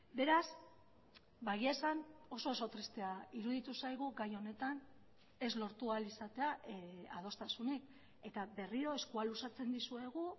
beraz egia esan oso oso tristea iruditu zaigu gai honetan ez lortu ahal izatea adostasunik eta berriro eskua luzatzen dizuegu